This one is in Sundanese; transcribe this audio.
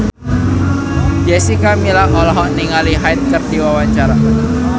Jessica Milla olohok ningali Hyde keur diwawancara